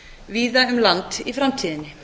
víða um land í framtíðinni